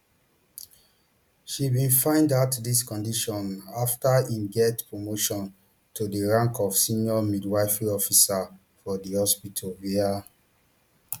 she bin find out dis condition afta im get promotion to di rank of senior midwifery officer for di hospital wia